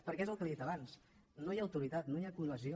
perquè és el que li he dit abans no hi ha autoritat no hi ha cohesió